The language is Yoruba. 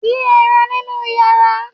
Dín ẹran nínú yanran.